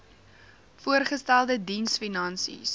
voorgestelde diens finansies